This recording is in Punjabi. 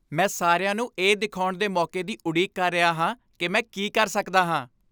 ਮੈਂ ਸਾਰਿਆਂ ਨੂੰ ਇਹ ਦਿਖਾਉਣ ਦੇ ਮੌਕੇ ਦੀ ਉਡੀਕ ਕਰ ਰਿਹਾ ਹਾਂ ਕਿ ਮੈਂ ਕੀ ਕਰ ਸਕਦਾ ਹਾਂ।